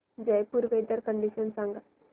Jaipur weather condition सांगा